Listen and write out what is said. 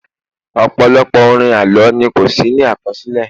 ọpọlọpọ orin àlọ ni ko sí ní akọsilẹ